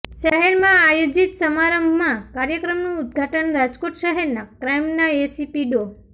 શહેરમાં આયોજીત સમારંભમાં કાર્યક્રમનું ઉદ્દઘાટન રાજકોટ શહેરના ક્રાઈમના એસીપી ડો